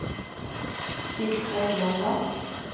Sigfred Longva